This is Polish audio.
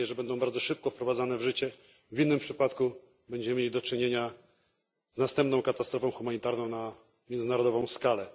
Mam nadzieję, że będą bardzo szybko wprowadzane w życie, bo w przeciwnym wypadku będziemy mieli do czynienia z następną katastrofą humanitarną na międzynarodową skalę.